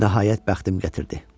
Nəhayət bəxtim gətirdi.